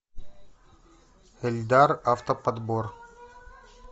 эльдар автоподбор